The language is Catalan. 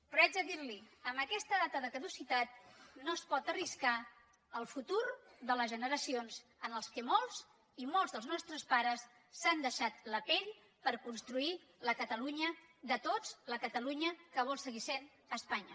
però haig de dir li amb aquesta data de caducitat no es pot arriscar el futur de les generacions en què molts i molts dels nostres pares s’han deixat la pell per construir la catalunya de tots la catalunya que vol seguir sent espanya